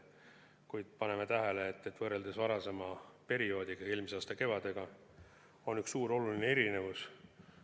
Kuid paneme tähele, et võrreldes varasema ajaga, eelmise aasta kevadega, on üks suur oluline erinevus.